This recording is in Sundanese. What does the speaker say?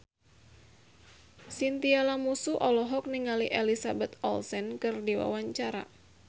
Chintya Lamusu olohok ningali Elizabeth Olsen keur diwawancara